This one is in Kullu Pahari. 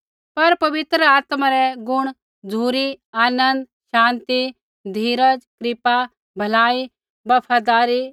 पर पवित्र आत्मा रै गुण झ़ुरी आनन्द शान्ति धीरज कृपा भलाई बफदारी